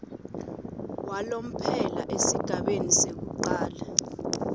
walomphelo esigabeni sekucala